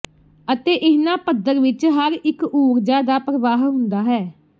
ਅਤੇ ਇਹਨਾਂ ਪੱਧਰ ਵਿਚ ਹਰ ਇਕ ਊਰਜਾ ਦਾ ਪ੍ਰਵਾਹ ਹੁੰਦਾ ਹੈ